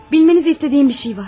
Bilmenizi istədiyim bir şey var.